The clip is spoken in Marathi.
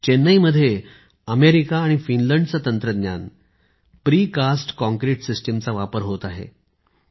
चेन्नईत अमेरिका आणि फिनलंडचे तंत्रज्ञान प्रीकास्ट काँक्रीट सिस्टिमचा वापर होत आहे